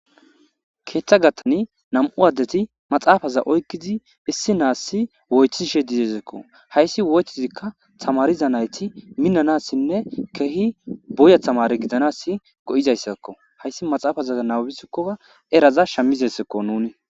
keeththa gathani nam7u addeti maxaafaza oykkizi issi naassi wothishe dizesekko hayssi woythizikka tamariza nayti minanassinne keehi boya tamare gidanas go7izayssakko hayssi maxaafaza nawbisikkoa eraza shamizessekko nuni